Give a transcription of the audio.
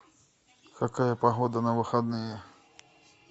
какая погода на выходные